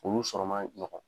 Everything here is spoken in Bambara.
Olu sɔrɔ ma ɲɔgɔn